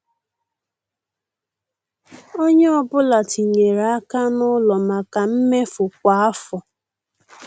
Ònye ọ́bụ̀la tinyèrè aka n' ụlọ maka mmefu kwa afọ.